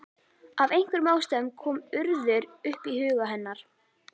Af einhverjum ástæðum kom Urður upp í huga hennar.